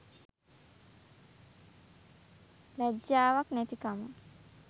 ලැජ්ජාවක් නැතිකම.